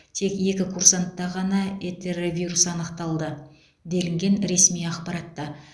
тек екі курсантта ғана энтеровирус анықталды делінген ресми ақпаратта